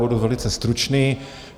Budu velice stručný.